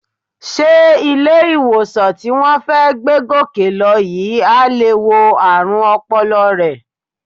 Sé ilé-ìwòsàn tí wọ́n fẹ́ gbé Gòkè lọ yìí á lè wo ààrùn ọpọlọ rẹ?